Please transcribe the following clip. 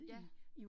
Ja